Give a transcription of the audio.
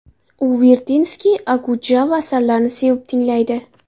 U Vertinskiy, Okudjava asarlarini sevib tinglaydi.